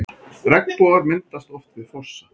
Regnbogar myndast oft við fossa.